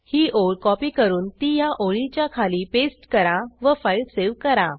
ही ओळ कॉपी करून ती ह्या ओळीच्या खाली पेस्ट करा व फाईल सेव्ह करा